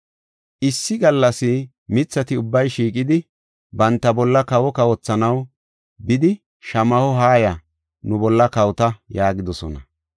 Issi gallas mithati ubbay shiiqidi, banta bolla kawo kawothanaw bidi shamaho, ‘Haaya, nu bolla kawota’ yaagidosona.